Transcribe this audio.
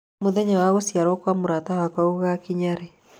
mũthenya wa gũciarũo kwa mũrata wakwa gũgakinya rĩ